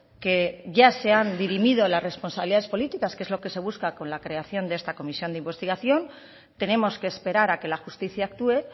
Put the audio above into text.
que ya se han dirimido las responsabilidades políticas que es lo que se busca con la creación de esta comisión de investigación tenemos que esperar a que la justicia actúe